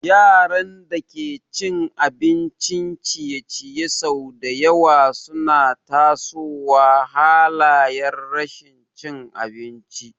Yaran da ke cin abincin ciye-ciye sau da yawa suna tasowa halayar rashin cin abinci.